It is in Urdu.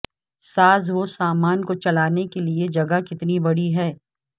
سازوسامان کو چلانے کے لئے جگہ کتنی بڑی ہے